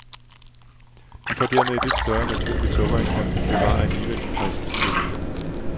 De får dermed et lidt større naturligt sukkerindhold, men bevarer alligevel en frisk syrlighed.